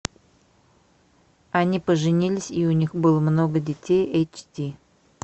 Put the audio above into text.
они поженились и у них было много детей эйч ди